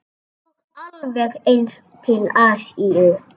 Og alveg eins til Asíu.